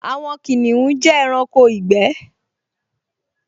Àwọn kìnìún jẹ́ ẹranko ìgbẹ́